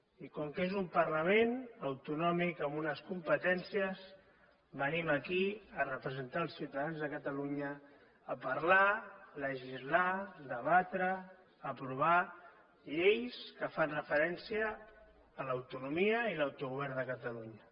i com que és un parlament autonòmic amb unes competències venim aquí a representar els ciutadans de catalunya a parlar legislar debatre aprovar lleis que fan referència a l’autonomia i l’autogovern de catalunya